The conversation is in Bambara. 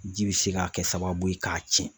Ji bɛ se k'a kɛ sababu ye k'a tiɲɛ.